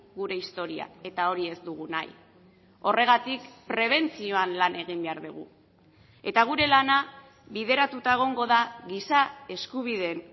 gure historia eta hori ez dugu nahi horregatik prebentzioan lan egin behar dugu eta gure lana bideratuta egongo da giza eskubideen